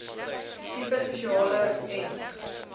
tipe spesialis ens